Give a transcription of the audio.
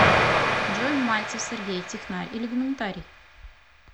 джой мальцев сергей технарь или гуманитарий